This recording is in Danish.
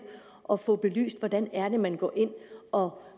at få belyst hvordan man går ind og